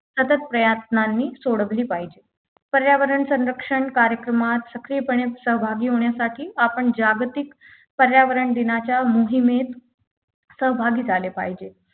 अथक प्रयत्नांनी सोडवली पाहिजे पर्यावरण संरक्षण कार्यक्रमात सक्रियपणे सहभागी होण्यासाठी आपण जागतिक पर्यावरण दिनाच्या मोहिमेत सहभागी झाले पाहिजे